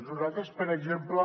nosaltres per exemple